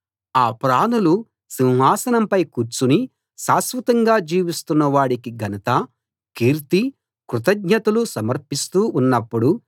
ఆ ప్రాణులు సింహాసనంపై కూర్చుని శాశ్వతంగా జీవిస్తున్న వాడికి ఘనత కీర్తి కృతజ్ఞతలూ సమర్పిస్తూ ఉన్నప్పుడు